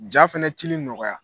Ja fɛnɛ cili nɔgɔya